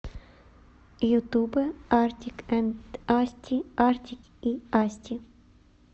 ютубэ артик энд асти артик и асти